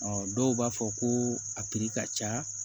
dɔw b'a fɔ ko a ka ca